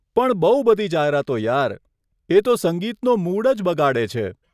પણ બહુ બધી જાહેરાતો યાર, એ તો સંગીતનો મૂડ જ બગાડે છે.